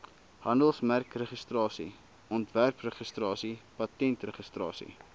handelsmerkregistrasie ontwerpregistrasie patentregistrasie